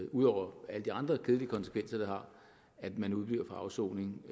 ud over alle de andre kedelige konsekvenser det har at man udebliver fra afsoning